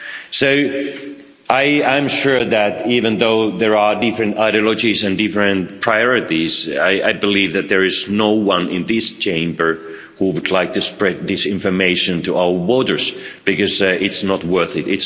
So I am sure that, even though there are different ideologies and different priorities, there is no one in this Chamber who would like to spread disinformation to our voters, because it's not worth it.